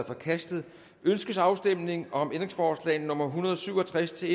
forkastet ønskes afstemning om ændringsforslag nummer en hundrede og syv og tres til